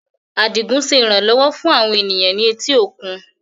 Adigun ṣe iranlọwọ fun awọn eniyan ni eti okun